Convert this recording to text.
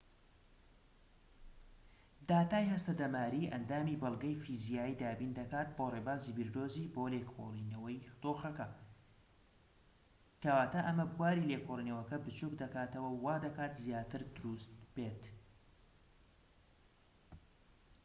داتای هەستەدەماریی ئەندامی بەڵگەی فیزیایی دابین دەکات بۆ ڕێبازی بیردۆزی بۆ لێکۆڵینەوەی دۆخەکە کەواتە ئەمە بواری لێکۆڵینەوەکە بچوك دەکاتەوە و وا دەکات زیاتر دروست بێت